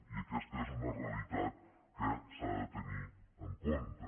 i aquesta és una realitat que s’ha de tenir en compte